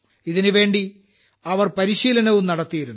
ഇതിനുവേണ്ടി അവർ പരിശീലനം നടത്തിയിരുന്നു